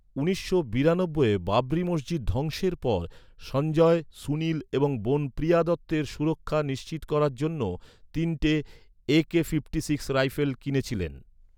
উনিশশো বিরানব্ববইয়ে বাবরি মসজিদ ধ্বংসের পর, সঞ্জয়, সুনীল এবং বোন প্রিয়া দত্তের সুরক্ষা নিশ্চিত করার জন্য তিনটি একে ছাপ্পান্ন রাইফেল কিনেছিলেন।